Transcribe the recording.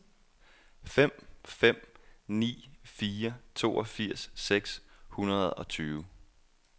fem fem ni fire toogfirs seks hundrede og tyve